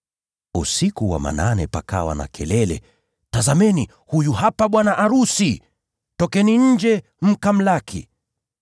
“Usiku wa manane pakawa na kelele: ‘Tazameni, huyu hapa bwana arusi! Tokeni nje mkamlaki!’